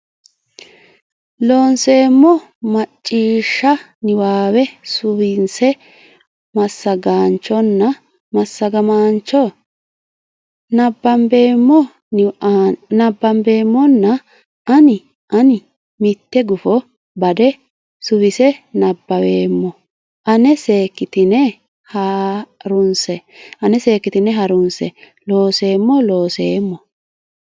Looseemmo Macciishsha niwaawe suwinse Massagaanchonna Massagamaancho nabbambeemmona hanni ani mitte gufo Bada suwise nabbaweemmo ana seekkitine ha runse Looseemmo Looseemmo.